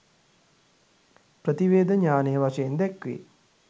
ප්‍රතිවේධ ඤාණය වශයෙන් දැක්වේ.